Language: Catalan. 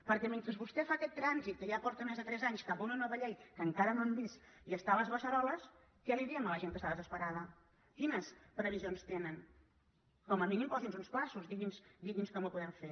perquè mentre vostè fa aquest trànsit que ja porta més de tres anys cap a una nova llei que encara no hem vist i està a les beceroles què li diem a la gent que està desesperada quines previsions tenen com a mínim posi’ns uns terminis digui’ns com ho podem fer